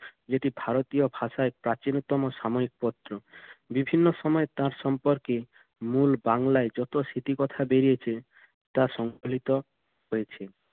যেটি ভারতীয় ভাষায় প্রাচীনতম সাময়িক পত্র। বিভিন্ন সময় তার সম্পর্কে মূল বাংলায় যত স্মৃতিকথা বেড়িয়েছে তা সংকলিত হয়েছে।